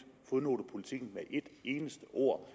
fodnotepolitikken med et eneste ord